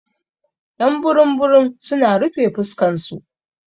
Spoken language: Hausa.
Y'an burum burum su na rufe fuskan su.